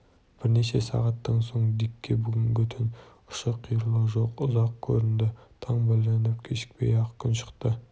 бірнеше сағаттан соң дикке бүгінгі түн ұшы-қиыры жоқ ұзақ көрінді таң білініп кешікпей-ақ күн шықты